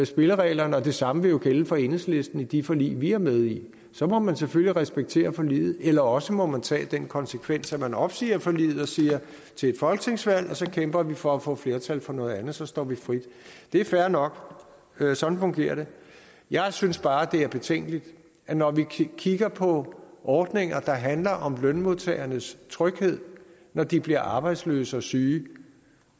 spillereglerne og det samme vil jo gælde for enhedslisten i de forlig vi er med i så må man selvfølgelig respektere forliget eller også må man tage den konsekvens at man opsiger forliget og siger at til et folketingsvalg kæmper vi for at få flertal for noget andet så står vi frit det er fair nok sådan fungerer det jeg synes bare det er betænkeligt at når vi kigger på ordninger der handler om lønmodtagernes tryghed når de bliver arbejdsløse og syge